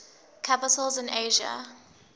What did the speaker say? capitals in asia